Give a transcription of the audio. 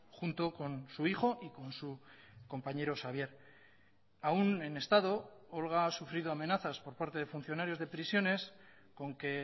junto con su hijo y con su compañero xabier aún en estado olga ha sufrido amenazas por parte de funcionarios de prisiones con que